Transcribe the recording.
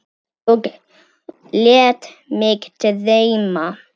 Og lét mig dreyma.